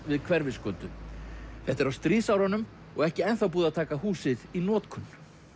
við Hverfisgötu þetta er á stríðsárunum og ekki ennþá búið að taka húsið í notkun